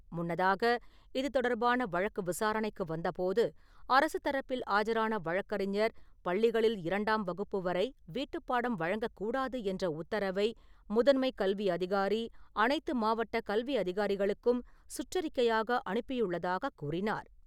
முன்னதாக, இது தொடர்பான வழக்கு விசாரணைக்கு வந்தபோது அரசுத் தரப்பில் ஆஜரான வழக்கறிஞர் பள்ளிகளில் இரண்டாம் வகுப்பு வரை வீட்டுப்பாடம் வழங்கக்கூடாது என்ற உத்தரவை முதன்மைக் கல்வி அதிகாரி அனைத்து மாவட்ட கல்வி அதிகாரிகளுக்கும் சுற்றறிக்கையாக அனுப்பியுள்ளதாகக் கூறினார்.